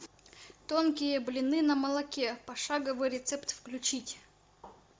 тонкие блины на молоке пошаговый рецепт включить